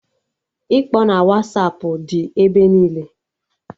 Ịkpọ na Wasapụ dị ebe niile